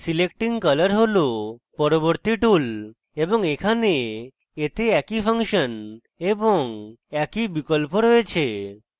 selecting colour has পরবর্তী tool এবং এখানে এতে একই ফাংশন এবং একই বিকল্প রয়েছে